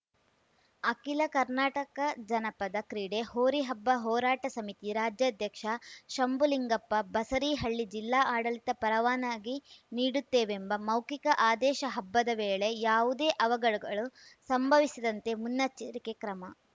ಅಖಿಲ ಕರ್ನಾಟಕಜನಪದ ಕ್ರೀಡೆ ಹೋರಿ ಹಬ್ಬ ಹೋರಾಟ ಸಮಿತಿ ರಾಜ್ಯಾಧ್ಯಕ್ಷ ಶಂಬುಲಿಂಗಪ್ಪ ಬಸರೀಹಳ್ಳಿ ಜಿಲ್ಲಾ ಆಡಳಿತ ಪರವಾನಗಿ ನೀಡುತ್ತೇವೆಂಬ ಮೌಖಿಕ ಆದೇಶ ಹಬ್ಬದ ವೇಳೆ ಯಾವುದೇ ಅವಘಡಗಳು ಸಂಭವಿಸದಂತೆ ಮುನ್ನೆಚ್ಚರಿಕೆ ಕ್ರಮ